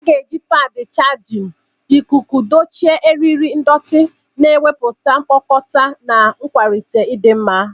A ga-eji padi chajịn ikuku dochie eriri ndọtị, na-ewepụ mkpukota na ịkwalite ịdị mma.